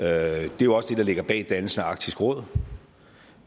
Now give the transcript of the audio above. er jo også det der ligger bag dannelsen af arktisk råd